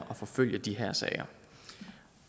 forfølge de her sager